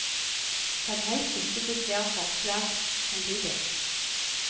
Send helst ikke til flere forlag samtidig.